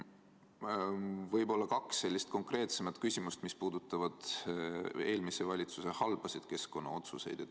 Ja võib-olla kaks sellist konkreetsemat küsimust, mis puudutavad eelmise valitsuse halbasid keskkonnaotsuseid.